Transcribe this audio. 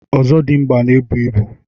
Ọzọdịmgba n'ebu ibu.